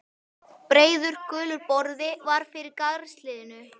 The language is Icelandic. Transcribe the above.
Breiður, gulur borði var fyrir garðshliðinu.